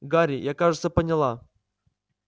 гарри я кажется поняла